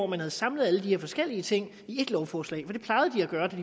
man havde samlet alle de her forskellige ting i ét lovforslag i